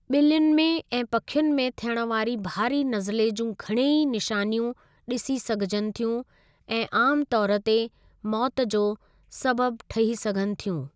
ॿिल्लियुनि में ऐं पखियुनि में थियण वारी भारी नज़ले जूं घणई निशानियूं ॾिसी सघिजनि थियूं ऐं आमु तौर ते मौतु जो सबबु ठही सघनि थियूं।